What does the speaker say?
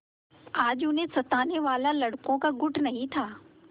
आज उन्हें सताने वाला लड़कों का गुट कहीं नहीं था